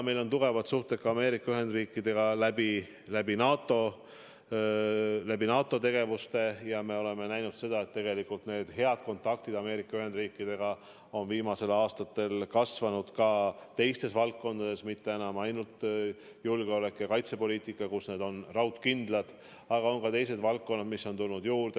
Meil on tugevad suhted Ameerika Ühendriikidega ka NATO tegevuste kaudu ja me oleme näinud, et need head kontaktid Ameerika Ühendriikidega on viimastel aastatel tihenenud ka teistes valdkondades – mitte enam ainult julgeoleku- ja kaitsepoliitikas, kus need on raudkindlad, vaid on ka teised valdkonnad, mis on juurde tulnud.